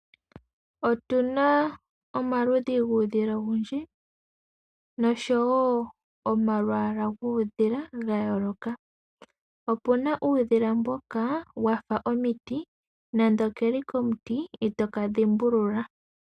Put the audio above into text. Otuna omaludhi guudhila owundji noshowo omalwaala guudhila ga yooloka. Opuna uudhila mboka wafa omiti nande okeli komuti itoka dhimbulula.